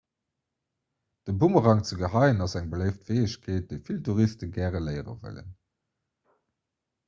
de boomerang ze geheien ass eng beléift fäegkeet déi vill touriste gär léiere wëllen